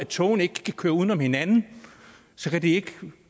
togene ikke kan køre uden om hinanden kan de ikke